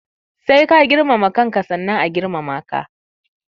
Sai ka girmama kanka sannan a girmama ka.